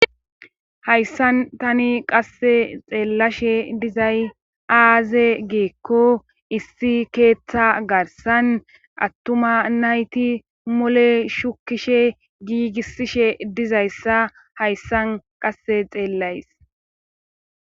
Hayssan tani qasse xeellashe dizay aaze geekko issi keeththa garsan attuma nayti mole shukishe giigisishe dizayssa hayssan qasse xeellays.